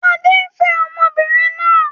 Adé ń fẹ́ ọmọbìnrin náà